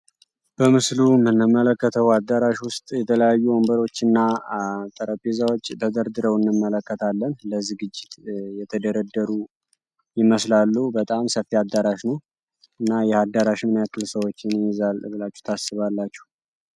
በምስሉ የምንመለከተው አዳራሽ ውስጥ የተለያዩ ወንበሮች እና ጠረጴዛዎች ተደርድረው እንመለከታለን ለዝግጅት የተደረደሩ ይመስላሉ በጣም ሰፊ አዳራሽ ነው። እና ይህ አዳራሽ ምን ያክል ሰዎችን ይይዛል ብላችሁ ታስባላችሁ?